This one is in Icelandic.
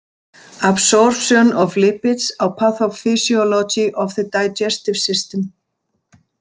Absorption of Lipids á Pathophysiology of the Digestive System.